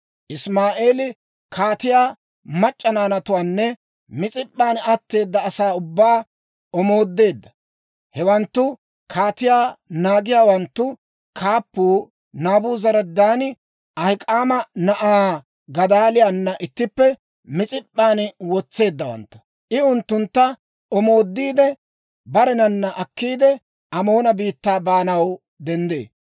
Isimaa'eeli kaatiyaa mac'c'a naanatuwaanne Mis'ip'p'an atteeda asaa ubbaa omoodeedda. Hewanttu kaatiyaa naagiyaawanttu kaappuu Naabuzaradaani Ahik'aama na'aa Gadaaliyaana ittippe Mis'ip'p'an wotseeddawantta. I unttuntta omoodiide, barenanna akkiide, Amoona biittaa baanaw denddee.